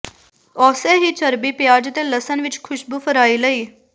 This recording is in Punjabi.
ਉਸੇ ਹੀ ਚਰਬੀ ਪਿਆਜ਼ ਅਤੇ ਲਸਣ ਵਿਚ ਖੁਸ਼ਬੂ ਫਰਾਈ ਲਈ